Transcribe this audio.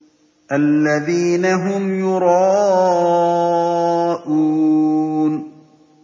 الَّذِينَ هُمْ يُرَاءُونَ